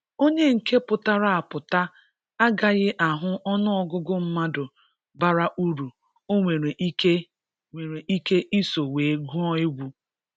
onye nke pụtara apụta a gaghị ahụ ọnụ ọgụgụ mmadụ bara uru o nwere ike nwere ike iso wee gụọ egwu